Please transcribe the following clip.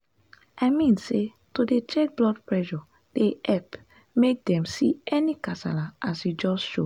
i mean say to dey check blood pressure dey epp make dem see any kasala as e just show.